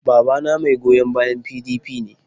Babana mai goyon bayan PDP ne.